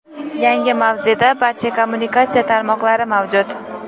Yangi mavzeda barcha kommunikatsiya tarmoqlari mavjud.